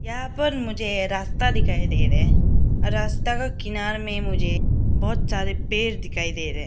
यहां पर मुझे रास्ता दिखाई दे रहे हैं रस्ता का किनार में मुझे बहोत सारे पेड़ दिखाई दे रहे हैं।